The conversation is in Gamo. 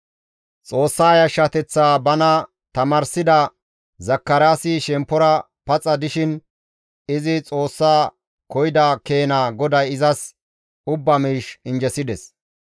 Xoossa yashshateththaa bana tamaarsida Zakaraasi shemppora paxa dishin izi Xoossa koyida keena GODAY izas ubba miish injjesides.